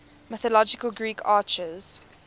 mythological greek archers